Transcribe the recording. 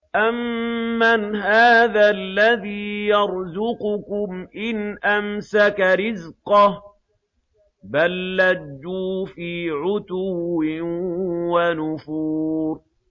أَمَّنْ هَٰذَا الَّذِي يَرْزُقُكُمْ إِنْ أَمْسَكَ رِزْقَهُ ۚ بَل لَّجُّوا فِي عُتُوٍّ وَنُفُورٍ